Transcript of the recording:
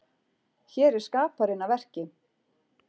Hér er skaparinn að verki.